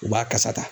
U b'a kasa ta